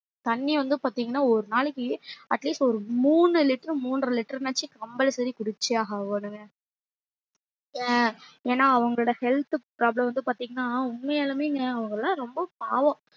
தண்ணி வந்து பாத்திங்கன்னா ஒரு நாளக்கி at least ஒரு மூணு liter மூன்ற liter னாச்சும் compulsory குடிச்சே ஆகணும் ஏ ஏன்னா அவங்களோட health problem வந்து பாத்திங்கன்னா உண்மையாலுமேங்க அவுங்கெல்லாம் ரொம்ப பாவம்